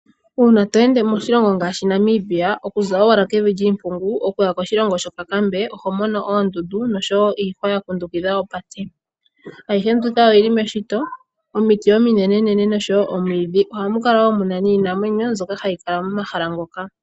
Uuna to ende moshilongo ngaashi Namibia, okuza owala kevi lyiimpungu okuya koshilongo shokakambe, oho mono oondundu nosho wo iihwa ya kundukidha opate. Ayihe mbika oyi li meshito, omiti ominenenene nosho wo oomwiidhi, oha mu kala wo muna iinamwenyo mbyoka hayi kala momahala ngoka.